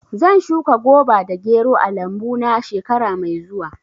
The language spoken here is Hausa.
Zan shuka goba da gero a lambu na shekara mai zuwa.